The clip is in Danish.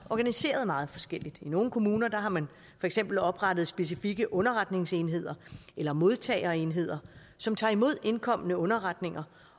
organiserede meget forskelligt i nogle kommuner har man for eksempel oprettet specifikke underretningsenheder eller modtagerenheder som tager imod indkomne underretninger